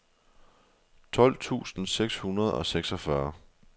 tolv tusind seks hundrede og seksogfyrre